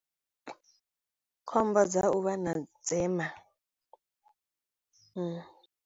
Khombo dza u vha na dzema.